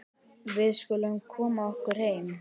Við skulum koma okkur heim.